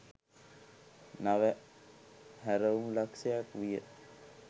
නව හැරවුම් ලක්ෂ්‍යයක් විය.